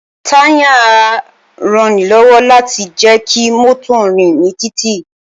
Táyà ń ranilọ́wọ́ láti jẹ́ kí mọ́tò ó rìn ní títì